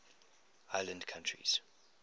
island countries